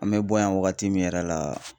An me bɔ yan wagati min yɛrɛ la